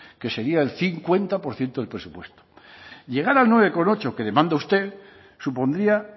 que sería el cincuenta por ciento del presupuesto llegar al nueve coma ocho que demanda usted supondría